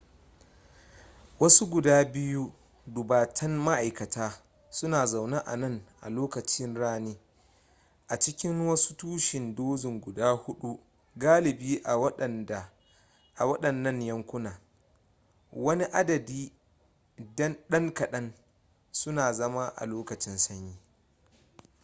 wasu guda biyu dubatan ma'aikata suna zaune a nan a lokacin rani a cikin wasu tushe dozin guda hudu galibi a waɗannan yankuna wani adadi dan kadan suna zama a lokacin sanyi